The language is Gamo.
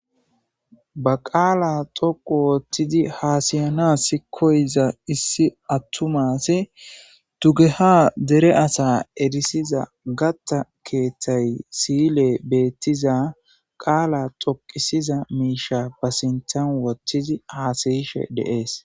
Ba qaala toqu wottidi haasayana s koyza issi attumasi tugeha dere asa erisiza gatta keeththay siyile beettiza qaala toqisiza miisha ba sintan wottidi haasayishe deees